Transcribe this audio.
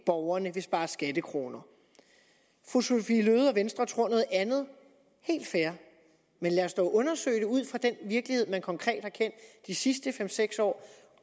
borgerne vil spare skattekroner fru sophie løhde og venstre tror noget andet helt fair men lad os dog undersøge det ud fra den virkelighed man konkret har kendt de sidste fem seks år